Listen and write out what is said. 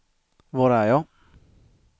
var är jag